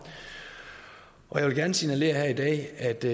og jeg vil gerne signalere her i dag at det